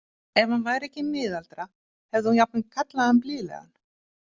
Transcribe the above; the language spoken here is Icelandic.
Ef hann væri ekki miðaldra hefði hún jafnvel kallað hann blíðlegan.